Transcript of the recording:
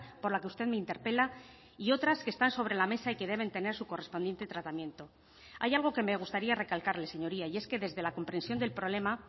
por la que usted me interpela y otras que están sobre la mesa y que deben tener su correspondiente tratamiento hay algo que me gustaría recalcarle señoría y es que desde la comprensión del problema